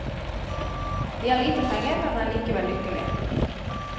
De har lite penger, men er likevel lykkelige.